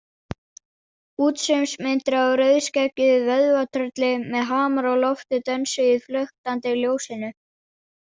Útsaumsmyndir af rauðskeggjuðu vöðvatrölli með hamar á lofti dönsuðu í flöktandi ljósinu.